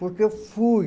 Porque eu fui.